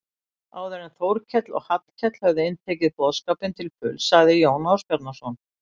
Áður en Þórkell og Hallkell höfðu inntekið boðskapinn til fulls sagði Jón Ásbjarnarson